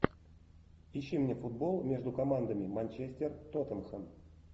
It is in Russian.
ищи мне футбол между командами манчестер тоттенхэм